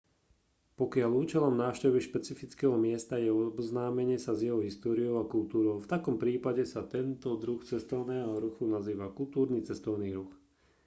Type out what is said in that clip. pokiaľ účelom návštevy špecifického miesta je oboznámenie sa s jeho históriou a kultúrou v takom prípade sa tento druh cestovného ruchu nazýva kultúrny cestovný ruch